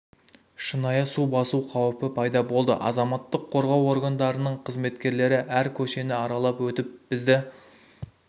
шынайы су басу қауіпі пайда болды азаматтық қорғау органдарының қызметкерлері әр көшені аралап өтіп бізді